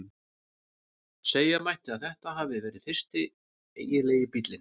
Segja mætti að þetta hafi verið fyrsti eiginlegi bíllinn.